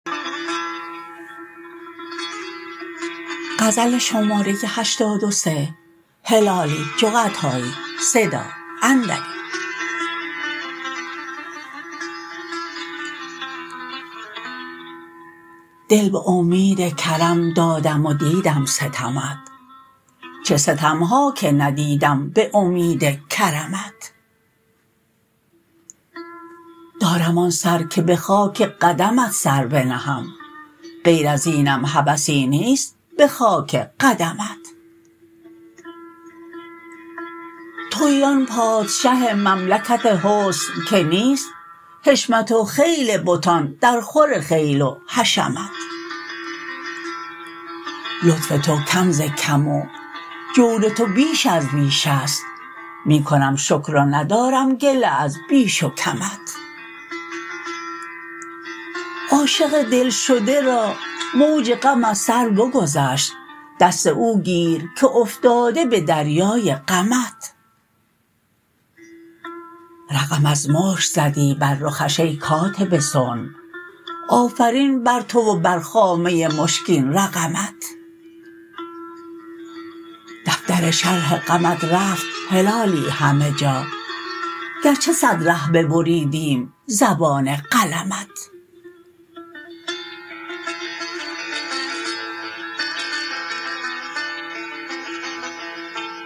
دل به امید کرم دادم و دیدم ستمت چه ستم ها که ندیدم به امید کرمت دارم آن سر که به خاک قدمت سر بنهم غیر ازینم هوسی نیست به خاک قدمت تویی آن پادشه مملکت حسن که نیست حشمت و خیل بتان درخور خیل و حشمت لطف تو کم ز کم و جور تو بیش از بیش است می کنم شکر و ندارم گله از بیش و کمت عاشق دلشده را موج غم از سر بگذشت دست او گیر که افتاده به دریای غمت رقم از مشک زدی بر رخش ای کاتب صنع آفرین بر تو و بر خامه مشکین رقمت دفتر شرح غمت رفت هلالی همه جا گرچه صد ره ببریدیم زبان قلمت